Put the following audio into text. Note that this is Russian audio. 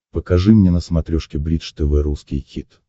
покажи мне на смотрешке бридж тв русский хит